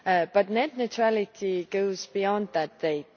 But net neutrality goes beyond that date.